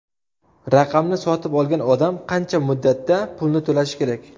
Raqamni sotib olgan odam qancha muddatda pulni to‘lashi kerak?